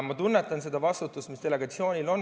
Ma tunnetan seda vastutust, mis delegatsioonidel on.